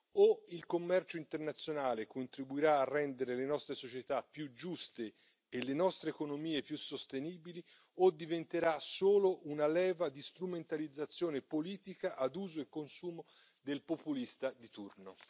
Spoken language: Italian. O il commercio internazionale contribuirà a rendere le nostre società più giuste e le nostre economie più sostenibili o diventerà solo una leva di strumentalizzazione politica ad uso e consumo del populista di turno.